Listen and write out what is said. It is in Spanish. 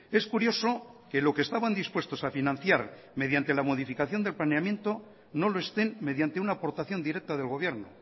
es curioso que lo que estaban dispuestos a financiar mediante la modificación del planeamiento no lo estén mediante una aportación directa del gobierno